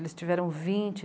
Eles tiveram vinte